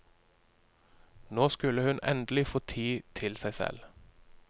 Nå skulle hun endelig få tid til seg selv.